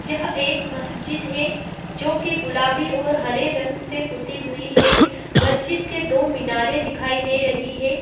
यह एक मजिद है जो की गुलाबी और हरे रंग से पुत्ती हुई है माजिद के दो मीनारे दिखाई दे रही है।